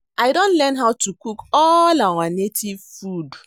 I don learn how to cook all our native food